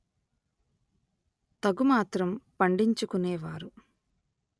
తగు మాత్రం పండించు కునే వారు